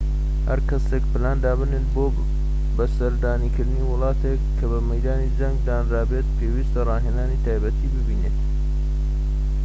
هەرکەسێك پلان دابنێت بۆ سەردانکردنی وڵاتێك کە بە مەیدانی جەنگ دانرابێت پێویستە ڕاهێنانی تایبەتیی بینیبێت